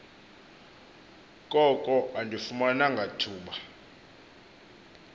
koko andifumananga thuba